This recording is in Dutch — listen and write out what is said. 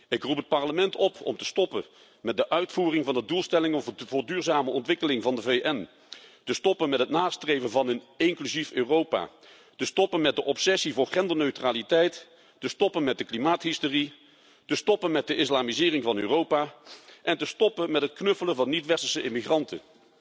Ik roep het Parlement op om te stoppen met de uitvoering van de doelstellingen voor duurzame ontwikkeling van de VN, te stoppen met het nastreven van een inclusief Europa, te stoppen met de obsessie voor genderneutraliteit, te stoppen met de klimaathysterie, te stoppen met de islamisering van Europa en te stoppen met het knuffelen van niet westerse immigranten.